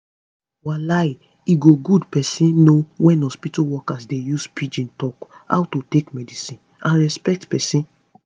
walai e go good pesin know wen hospitol workers dey use pidgin talk how to take medicine and respect pesin